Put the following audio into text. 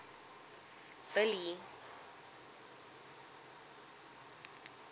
billy